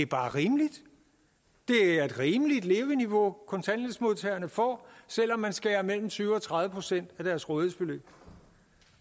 bare rimeligt det er et rimeligt leveniveau kontanthjælpsmodtagerne får selv om man skærer mellem tyve procent og tredive procent af deres rådighedsbeløb